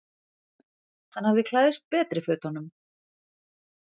Hann hafði klæðst betri fötunum.